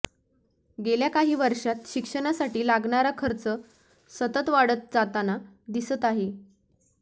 गेल्या काही वर्षात शिक्षणासाठी लागणारा खर्च सतत वाढत जाताना दिसत आहे